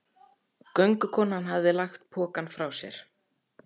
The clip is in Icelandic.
Göngukonan hafði lagt pokann frá sér.